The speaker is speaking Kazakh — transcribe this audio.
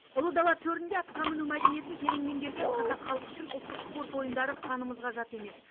ұлы дала төрінде атқа міну мәдениетін терең меңгерген қазақ халқы үшін ұлттық спорт ойындары қанымызға жат емес